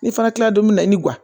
Ne fana kila la don min na ni